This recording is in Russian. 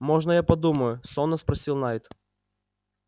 можно я подумаю сонно спросил найд